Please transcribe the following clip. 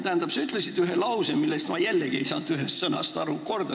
Tähendab, sa ütlesid ühe lause, milles ma ei saanud ühest sõnast aru.